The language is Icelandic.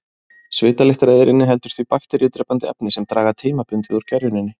Svitalyktareyðir inniheldur því bakteríudrepandi efni sem draga tímabundið úr gerjuninni.